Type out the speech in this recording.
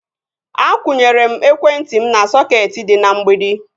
Akwụnyere m ekwentị m na sọketi dị na mgbidi